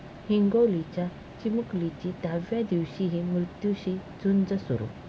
हिंगोलीच्या चिमुकलीची दहाव्या दिवशीही मृत्यूशी झुंज सुरू!